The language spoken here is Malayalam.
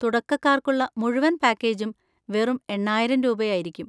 തുടക്കക്കാർക്കുള്ള മുഴുവൻ പാക്കേജും വെറും എണ്ണായിരം രൂപയായിരിക്കും.